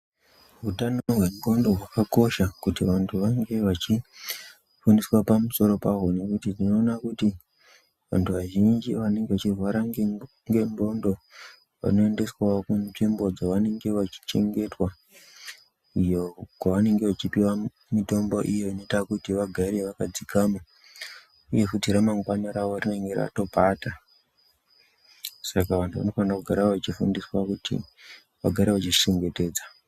Utano hwendxondo hwakakosha, kuti vanthu vangee vachifundiswa pamusoro pahwo. Nekuti tinoona kuti vanthu vazhinji vanenge vachirwara nendxondo, vanoendeswawo kunzvimbo dzevanenge vachichengetwa, iyo kwevanenge vachipiwa mitombo iyo inoita kuti vagare vakadzikama, uye futi ramangwani ravo rinenge ratopata. Saka vanthu vanofana kugara vachifundiswa kuti vagare vachizvichengetedza.